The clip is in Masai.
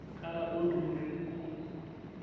kaata duo ntumoritin kumok